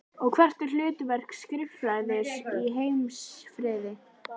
Og hvert er hlutverk skrifræðis í heimsfriði?